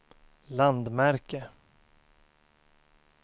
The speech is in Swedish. landmärke